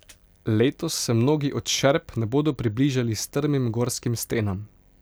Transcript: Letos se mnogi od Šerp ne bodo približali strmim gorskim stenam.